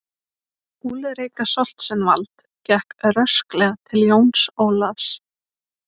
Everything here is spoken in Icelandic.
Úlrika Stoltzenwald gekk rösklega til Jóns Ólafs.